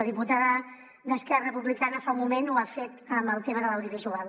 la diputada d’esquerra republicana fa un moment ho ha fet amb el tema de l’audiovisual